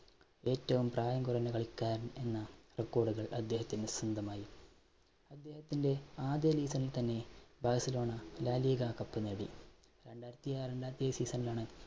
ഏറ്റവും പ്രായം കുറഞ്ഞ കളിക്കാരൻ എന്ന record കൾ അദ്ദേഹത്തിന് സ്വന്തമായി. അദ്ദേഹത്തിന്റെ ആദ്യ league കളിയിൽ തന്നെ ബാഴ്സലോണ laliga cup നേടി, രണ്ടായിരത്തിആറിൽ നടത്തിയ season ലാണ്